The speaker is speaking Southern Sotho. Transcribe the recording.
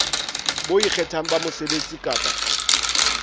bo ikgethang ba mosebetsi kapa